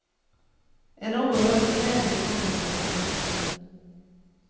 En oerhörd glädje kom över henne.